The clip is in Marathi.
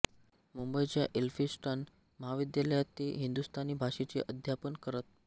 मुंबईच्या एल्फिन्स्टन महाविद्यालयात ते हिंदुस्तानी भाषेचे अध्यापन करत